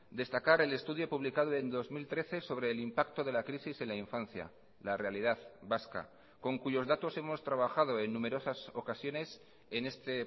destacar el estudio publicado en dos mil trece sobre el impacto de la crisis en la infancia la realidad vasca con cuyos datos hemos trabajado en numerosas ocasiones en este